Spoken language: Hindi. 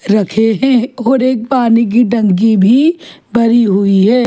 रखे हैं और एक पानी की टंकी भी भरी हुई है।